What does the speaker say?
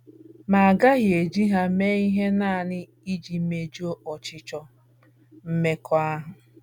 Ma a gaghị eji ha mee ihe nanị iji mejuo ọchịchọ mmekọahụ.